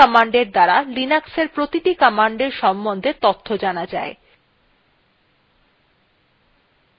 man commandএর দ্বারা লিনাক্সএর প্রতিটি command সম্বন্ধে তথ্য জানা যায়